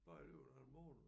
Bare i løbet af en måned